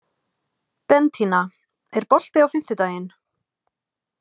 Bentína, er bolti á fimmtudaginn?